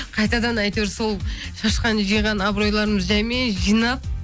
қайтадан әйтеуір сол шашқан жиған абыройларымды жаймен жинап